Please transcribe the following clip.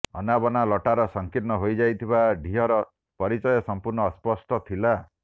ଅନାବନା ଲଟାର ସଂକୀର୍ଣ୍ଣ ହୋଇଯାଇଥିବା ଡିହର ପରିଚୟ ସମ୍ପୂର୍ଣ୍ଣ ଅସ୍ପଷ୍ଟ ଥିଲା